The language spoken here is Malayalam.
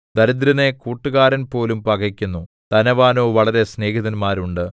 ദരിദ്രനെ കൂട്ടുകാരൻ പോലും പകക്കുന്നു ധനവാനോ വളരെ സ്നേഹിതന്മാർ ഉണ്ട്